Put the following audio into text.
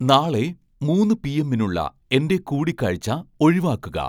നാളെ മൂന്ന് പി എമ്മിനുളള എൻ്റെ കൂടികാഴ്ച്ച ഒഴിവാക്കുക